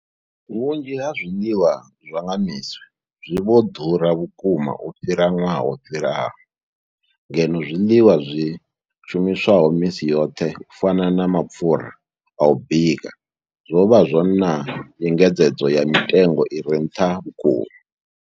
Vhunzhi ha zwiḽiwa zwa nga misi zwi vho ḓura vhukuma u fhira ṅwaha wo fhiraho, ngeno zwiḽiwa zwi shumiswaho misi yoṱhe u fana na mapfhura a u bika zwo vha na nyengedzedzo ya mitengo i re nṱha vhukuma.